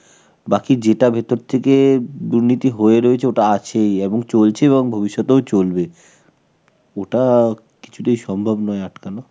বাকি যেটা ভিতর থেকে দুর্নীতি হয়ে রয়েছে, ওইটা আছেই এবং চলছে, এবং ভবিষ্যতেও চলবে. ওটা কিছুতেই সম্ভব নয় আটকানো.